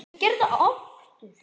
Ég var ekki hraustur.